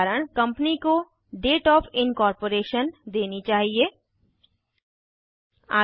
उदाहरण कंपनी को date of incorporation निगमीकरण की तिथि देनी चाहिए